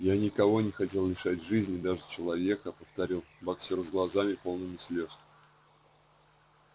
я никого не хотел лишать жизни даже человека повторил боксёр с глазами полными слез